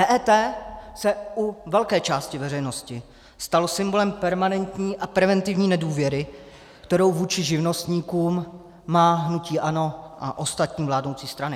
EET se u velké části veřejnosti stalo symbolem permanentní a preventivní nedůvěry, kterou vůči živnostníkům má hnutí ANO a ostatní vládnoucí strany.